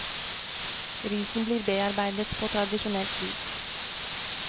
Risen blir bearbeidet på tradisjonelt vis.